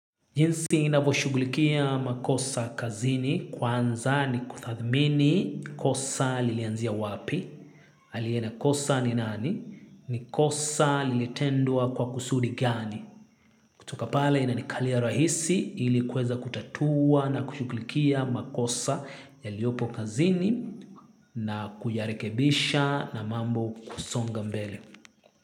Jinsi ninavoshughulikia makosa kazini kwanza ni kuthathmini kosa lilianzia wapi, aliye na kosa ni nani, ni kosa lilitendwa kwa kusudi gani. Kutoka pale inanikalia rahisi ili kuweza kutatua na kushughulikia makosa yaliopo kazini na kuyarekebisha na mambo kusonga mbele.